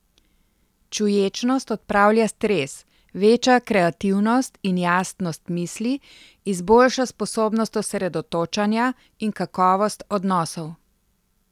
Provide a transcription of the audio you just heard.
Čuječnost odpravlja stres, veča kreativnost in jasnost misli, izboljša sposobnost osredotočanja in kakovost odnosov ...